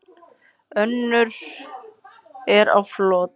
Önnur er á flótta.